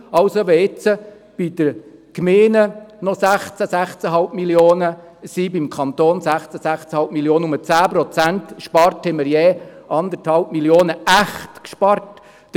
Wenn den Gemeinden und dem Kanton dann noch je 16–16,5 Mio. Franken bleiben und man 10 Prozent spart, werden wir je 1,5 Mio. Franken echt gespart haben.